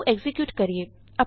ਆਉ ਐਕਜ਼ੀਕਿਯੂਟ ਕਰੀਏ